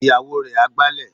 Ìyàwó rẹ̀ á gbálẹ̀.